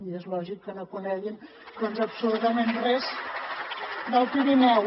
i és lògic que no coneguin absolutament res del pirineu